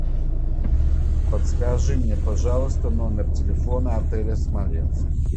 подскажи мне пожалуйста номер телефона отеля смоленск